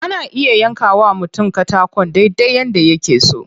Ana iya yanka wa mutum katakon dai dai yadda yake so.